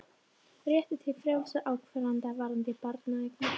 Réttur til frjálsrar ákvarðanatöku varðandi barneignir